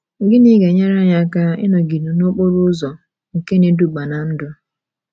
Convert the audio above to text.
Gịnị ga - enyere anyị aka ịnọgide n’okporo ụzọ nke na - eduba ná ndụ?